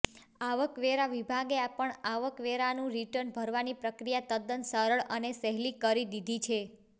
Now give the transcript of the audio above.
આવકવેરા વિભાગે પણ આવકવેરાનું રિટર્ન ભરવાની પ્રક્રિયા તદ્દન સરળ અને સહેલી કરી દીધી હતી